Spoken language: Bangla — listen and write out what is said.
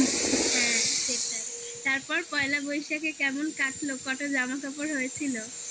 হ্যাঁ, সেটাই তারপর পয়লা বৈশাখে কেমন কাটলো? কটা জামাকাপড় হয়েছিল?